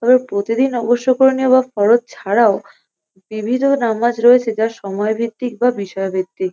আবার প্রতিদিন অবশ্যকরনীয় বা পরব ছাড়াও বিবিধ নামাজ রয়েছে যা সময়ভিত্তিক বা বিষয়ভিত্তিক ।